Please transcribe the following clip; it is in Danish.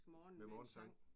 Med morgensang